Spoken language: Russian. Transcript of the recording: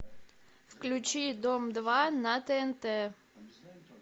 включи дом два на тнт